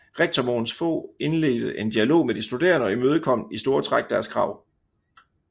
Rektor Mogens Fog indledte en dialog med de studerende og imødekom i store træk deres krav